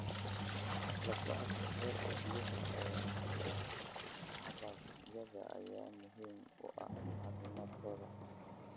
La socodka heerka biyaha ee xabasyada ayaa muhiim u ah caafimaadkooda.